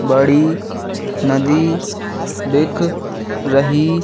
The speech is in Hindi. बड़ी नदी दिख रही--